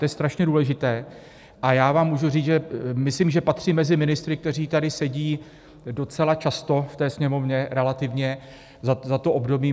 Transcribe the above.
To je strašně důležité a já vám můžu říct, že myslím, že patřím mezi ministry, kteří tady sedí docela často v té Sněmovně, relativně za to období.